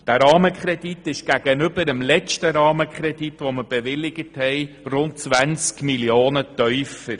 Der Rahmenkredit liegt gegenüber dem letzten Rahmenkredit, den wir bewilligt haben, um rund 20 Mio. tiefer.